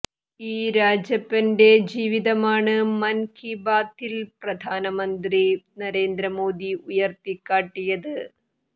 ഈ രാജപ്പന്റെ ജീവിതമാണ് മൻ കീ ബാത്തിൽ പ്രധാനമന്ത്രി നരേന്ദ്ര മോദി ഉയർത്തിക്കാട്ടിയത്